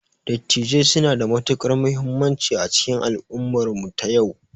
Dattijai suna da matukar muhimmanci a cikin al'ummar mu ta yau